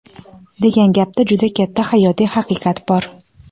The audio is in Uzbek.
degan gapda juda katta hayotiy haqiqat bor.